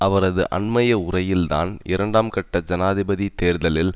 அவரது அண்மைய உரையில் தான் இரண்டாம் கட்ட ஜனாதிபதி தேர்தலில்